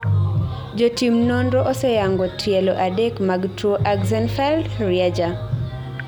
jotim nonro oseyango tielo adek mag tuo Axenfeld -Rieger